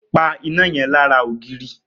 Pa iná yẹn lára ògiri!